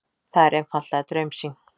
Það er einfaldlega draumsýn.